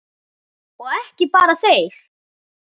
Og ekki bara þeir.